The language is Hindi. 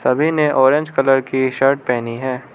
सभी ने ऑरेंज कलर की शर्ट पहनी है।